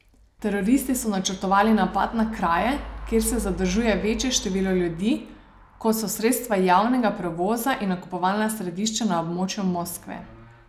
Teroristi so načrtovali napade na kraje, kjer se zadržuje večje število ljudi, kot so sredstva javnega prevoza in nakupovalna središča na območju Moskve.